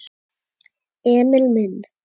Emil minn.